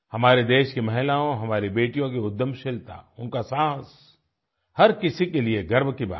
हमारे देश की महिलाओं हमारी बेटियों की उद्यमशीलता उनका साहस हर किसी के लिए गर्व की बात है